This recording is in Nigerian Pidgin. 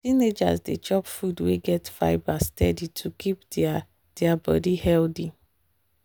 teenagers dey chop food wey get fibre steady to keep their their body healthy.